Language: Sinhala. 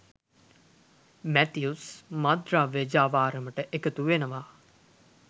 මැතිව්ස් මත්ද්‍රව්‍ය ජාවාරමට එකතු වෙනව.